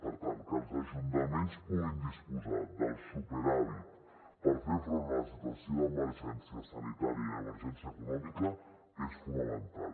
per tant que els ajuntaments puguin disposar del superàvit per fer front a la situació d’emergència sanitària i emergència econòmica és fonamental